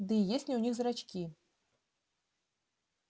да и есть ли у них зрачки